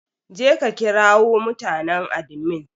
Je ka ƙirawo mutanen adimin!